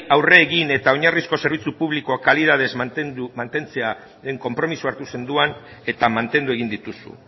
aurre egin eta oinarrizko zerbitzu publikoa kalitatez mantentzearen konpromisoa hartu zenuen eta mantendu egin dituzu